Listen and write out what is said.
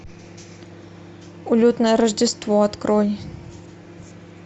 улетное рождество открой